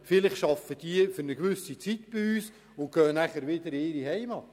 Vielleicht arbeiten diese für eine gewisse Zeit bei uns und gehen anschliessend zurück in ihre Heimat.